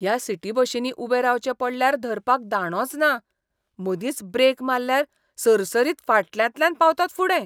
ह्या सिटी बशींनी उबे रावचें पडल्यार धरपाक दांडोच ना. मदींच ब्रेक माल्ल्यार सरसरीत फाटल्यांतल्यान पावतात फुडें.